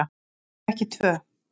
Ef ekki tvö.